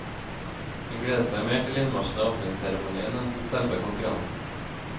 Hun gleder seg mer til innmarsjen og åpningsseremonien enn til selve konkurransen.